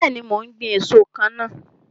Bẹẹni, mo ń gbin èso kan náà.